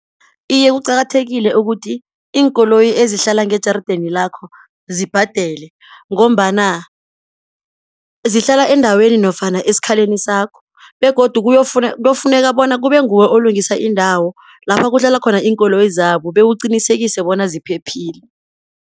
Iye kuqakathekile ukuthi iinkoloyi ezihlala ngejarideni lakho zibhadele, ngombana zihlala endaweni nofana esikhaleni sakho, begodu kuyofuneka bona kube nguwe olungisa indawo lapha kudlala khona iinkoloyi zabo, bewuqinisekise bona ziphephile.